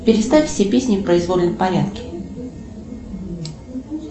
переставь все песни в произвольном порядке